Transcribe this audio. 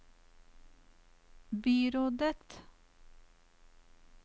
byrådet